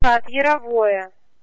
так мировое